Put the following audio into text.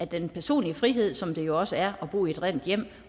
den personlige frihed som det jo også er at bo i et rent hjem